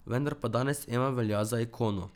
Vendar pa danes Ema velja za ikono.